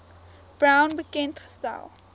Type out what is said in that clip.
brown bekend gestel